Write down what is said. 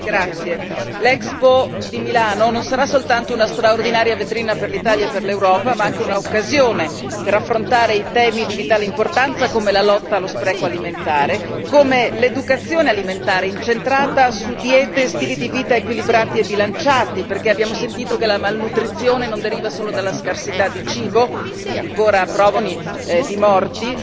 Signora Presidente, onorevoli colleghi, l'Expo di Milano non sarà soltanto una straordinaria vetrina per l'Italia e per l'Europa, ma anche un'occasione per affrontare temi di vitale importanza come la lotta allo spreco alimentare, come l'educazione alimentare incentrata su diete e stili di vita equilibrati e bilanciati, perché abbiamo sentito che la malnutrizione non deriva solo dalla scarsità di cibo che ancora provoca purtroppo milioni di morti,